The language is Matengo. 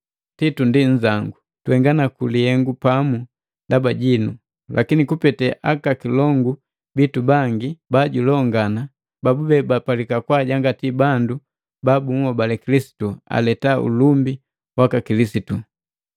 Titu ndi nzangu, tuhenga naku lihengu pamu ndaba jinu, lakini kupete aka kilongu bitu bangi bajulongana, babube bapalika kwaajangati bandu ba bunhobali Kilisitu aleta ulumbi waka Kilisitu.